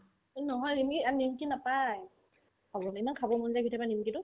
এই নহয় ৰেমি ইয়াত নিমকি নাপাই খাবলে না ইমান খাব মন যাই কেতিয়াবা নিমকি তো